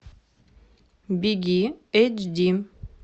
беги эйч ди